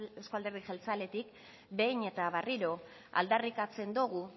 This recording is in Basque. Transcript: euzko alderdi jeltzaletik behin eta berriro aldarrikatzen dugu